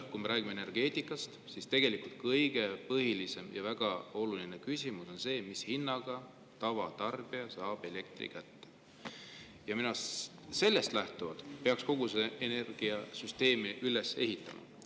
Kui me räägime energeetikast, siis on väga oluline, tegelikult kõige põhilisem küsimus see, mis hinnaga tavatarbija saab elektri kätte, ja sellest lähtuvalt peaks kogu energiasüsteemi üles ehitama.